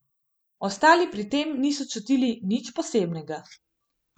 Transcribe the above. Ostali pri tem niso čutili nič posebnega.